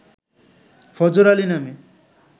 ফজর আলী নামে